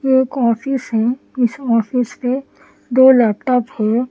ये एक ऑफिस है इस ऑफिस पेदो लैपटॉप है ।